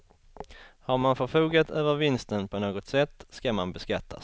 Har man förfogat över vinsten på något sätt ska man beskattas.